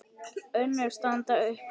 Önnur standa upp úr.